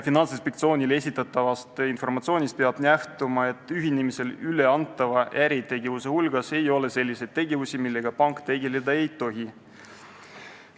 Finantsinspektsioonile esitatavast informatsioonist peab nähtuma, et ühinemisel üle antav äritegevus ei hõlma selliseid tegevusi, millega pank tegeleda ei tohi.